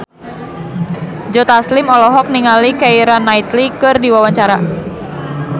Joe Taslim olohok ningali Keira Knightley keur diwawancara